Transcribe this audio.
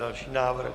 Další návrh.